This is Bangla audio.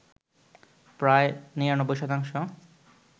প্রায় ৯৯ শতাংশ